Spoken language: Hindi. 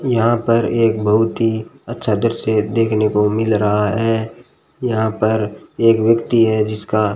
यहां पर एक बहुत ही अच्छा दृश्य देखने को मिल रहा है यहां पर एक व्यक्ति है जिसका --